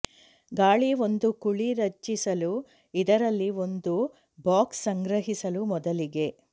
ಗಾಳಿ ಒಂದು ಕುಳಿ ರಚಿಸಲು ಇದರಲ್ಲಿ ಒಂದು ಬಾಕ್ಸ್ ಸಂಗ್ರಹಿಸಲು ಮೊದಲಿಗೆ